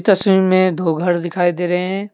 तस्वीर में दो घर दिखाई दे रहे हैं।